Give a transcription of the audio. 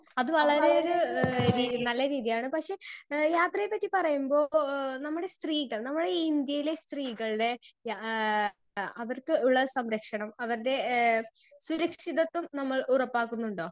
Speaker 2 അത് വളരെ ഒരു എഹ് രീ നല്ല രീതിയാണ് പക്ഷെ എഹ് യാത്രയെ പറ്റി പറയുമ്പോ മ്ബോഹ് നമ്മടെ സ്ത്രീകൾ നമ്മളെ ഈ ഇന്ത്യയിലെ സ്ത്രീകൾടെ യ ഏഹ് അവർക്ക് ഉള്ള സംരക്ഷണം അവര്ടെ ഏഹ് സുരക്ഷിതത്വം നമ്മൾ ഉറപ്പാക്കുന്നുണ്ടോ?